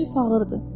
Çünki fağır idi.